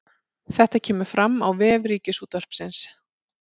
Þetta kemur fram á vef Ríkisútvarpsins